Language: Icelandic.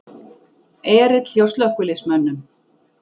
Erill hjá slökkviliðsmönnum